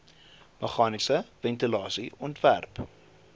meganiese ventilasie ontwerp